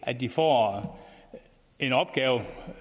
at de får en opgave og